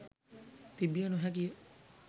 තිබිය නොහැකිය.